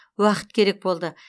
уақыт керек болды